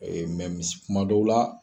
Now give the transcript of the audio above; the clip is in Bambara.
kuma dɔw la